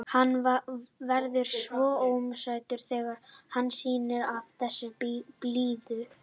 Hann verður svo ómótstæðilegur þegar hann sýnir af sér þessa blíðu.